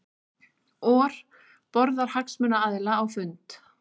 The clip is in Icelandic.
OR boðar hagsmunaaðila á fund